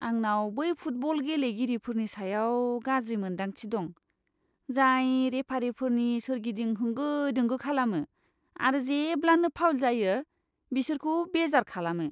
आंनाव बै फुटबल गेलेगिरिफोरनि सायाव गाज्रि मोन्दांथि दं, जाय रेफारिफोरनि सोरगिदिं होंगो दोंगो खालामो आरो जेब्लानो फाउल जायो, बिसोरखौ बेजार खालामो।